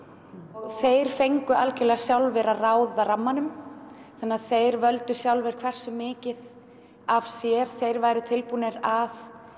og þeir fengu alveg sjálfir að ráða rammanum þannig að þeir völdu sjálfir hversu mikið af sér þeir væru tilbúnir að